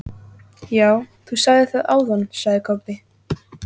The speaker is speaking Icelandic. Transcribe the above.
Já, þú sagðir það áðan, sagði Kobbi.